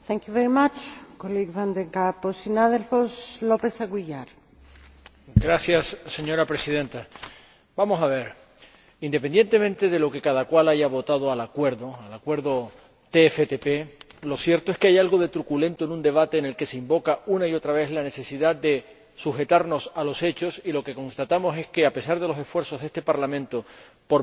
Señora Presidenta, vamos a ver, independientemente de lo que cada cual haya votado al Acuerdo TFTP, lo cierto es que hay algo de truculento en un debate en el que se invoca una y otra vez la necesidad de sujetarnos a los hechos y lo que constatamos es que, a pesar de los esfuerzos de este Parlamento por verificar los hechos, representando la preocupación legítima de millones de ciudadanos que se sienten escandalizados